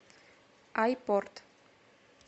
айпорт